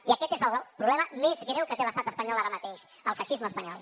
i aquest és el problema més greu que té l’estat espanyol ara mateix el feixisme espanyol